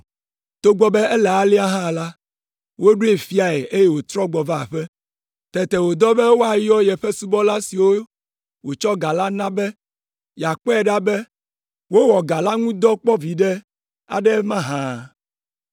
“Togbɔ be ele alea hã la, woɖoe fiae eye wòtrɔ gbɔ va aƒe. Tete wòdɔ be woayɔ yeƒe subɔla siwo wòtsɔ ga na la be yeakpɔe ɖa be wowɔ ga la ŋu dɔ kpɔ viɖe aɖe mahã.